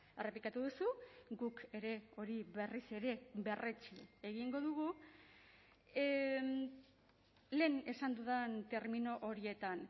errepikatu duzu guk ere hori berriz ere berretsi egingo dugu lehen esan dudan termino horietan